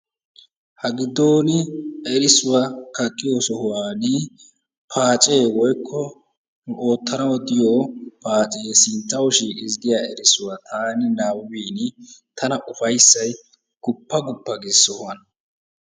Ha giddon erissuwa kaqqiyo sohuwan paacee woyikko oottanawu diyo paacee sinttawu shiiqis giya erissuwa taani nabbabbin tana ufayissay guppa guppa gees sohuwan.